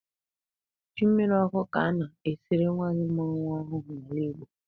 Ji mmirí ọkụ ka a na-esiri nwanyị mụrụ nwa ọhụụ n'ala Igbo.